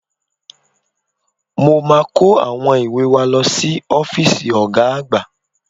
Mo máa kó àwọn ìwé wa lọ sí ọ́fíìsì Ọ̀ga àgbà